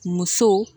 Muso